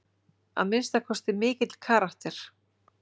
Að minnsta kosti mikill karakter.